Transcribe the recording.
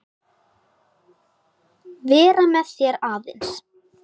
Vera með þér aðeins.